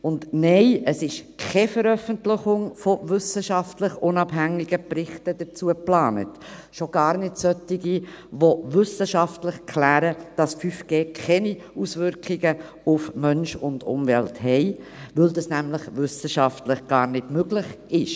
Und nein, es ist keine Veröffentlichung von wissenschaftlich unabhängigen Berichten dazu geplant, schon gar nicht solche, die wissenschaftlich klären, dass 5G keine Auswirkungen auf Mensch und Umwelt hat, weil dies nämlich wissenschaftlich gar nicht möglich ist.